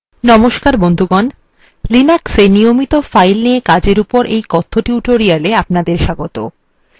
linuxএ নিয়মিত files নিয়ে কাজের উপর এই কথ্য tutorial এ অপনাদের স্বাগত